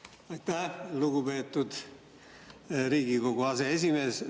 Aitäh, lugupeetud Riigikogu aseesimees!